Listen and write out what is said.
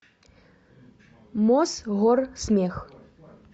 мосгорсмех